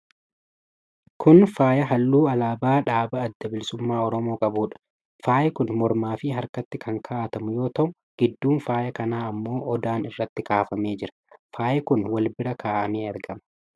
Kun faaya halluu alaabaa dhaaba Adda Bilisummaa Oromoo qabuudha. Faayi kun Mormaa fi harkatti kan kaa'atamu yoo ta'u, gidduun faaya kanaa ammoo odaan irratti kaafamee jira. Faayi kun wal irra kaa'amee argama.